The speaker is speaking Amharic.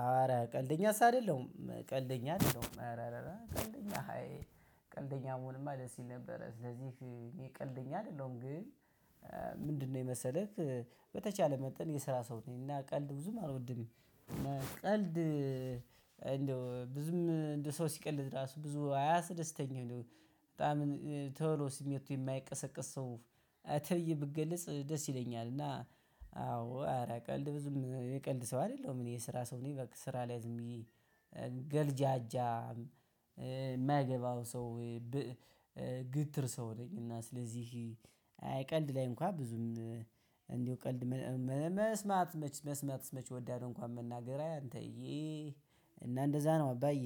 ሐዋርያ ቀልደኛስ አይደለሁም ቀልደኛ አይደለሁም። ቀልደኛ ሃይ ቀልደኛ ብሆንማ ደስ ይል ነበረ ስለዚህ ቀልደኛ አይደለሁም። ግን ምንድነው የመሰለህ? በተቻለ መጠን የስራ ሰው ነኝ እና ቀልድ ብዙም አልወድም። በልድ እንደው ብዙም እንደ ሰው ሲቀልድ ራሱ ብዙ አያስደስተኝም እንደው በጣም ቶሎ ስሜቱ የማይቀሰቀስ ሰው። ተይ ብትገልጽ ደስ ይለኛል። እና አዎ ኧረ ቀልድ ብዙም የቀልድ ሰው አይደለሁም። እኔ የስራ ሰው እኔ በቃ ስራ ላይ ዝም ብዬ ገልጃጃ የማያገባው ሰው። ግትር ሰው ነኝ። እና ስለዚህ አይ ቀልድ ላይ እንኳ ብዙም እንዲሁ ቀልድ መስማት መች መስማትስ መች እወዳለሁ። እንኳን መናገር አይ አንተዬ እና እንደዛ ነው። አባዬ